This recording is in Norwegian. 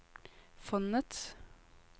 fondets